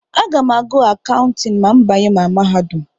Aga m ágụ̀ Akawntịn ma m banye na mahadum.